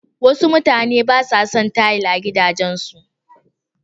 Wasu mutanen ba sa son tayil a gidajensu.